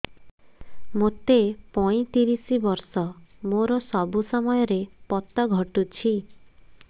ମୋତେ ପଇଂତିରିଶ ବର୍ଷ ମୋର ସବୁ ସମୟରେ ପତ ଘଟୁଛି